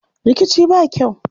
Rikici ba kyau.